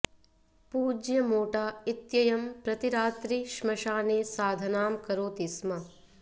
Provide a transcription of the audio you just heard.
पूज्य मोटा इत्ययं प्रतिरात्रि स्मशाने साधनां करोति स्म